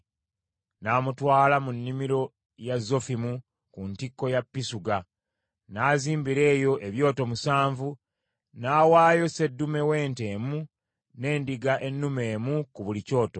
N’amutwala mu nnimiro ya Zofimu, ku ntikko ya Pisuga, n’azimbira eyo ebyoto musanvu n’awaayo sseddume w’ente emu n’endiga ennume emu ku buli kyoto.